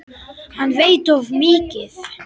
Hann veit of mikið.